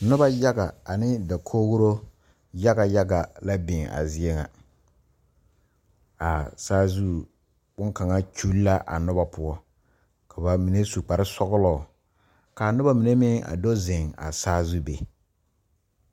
Noba yaga ane dakogri yaga yaga la biŋ a zie ŋa a saazu boŋkaŋa kyuli la a noba poɔ ka ba mine su kpare sɔglɔ ka a noba mine meŋ a do zeŋ a saazu be.